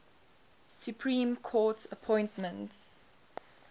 supreme court appointments